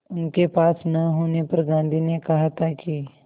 उनके पास न होने पर गांधी ने कहा था कि